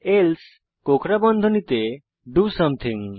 else কোঁকড়া বন্ধনীতে do something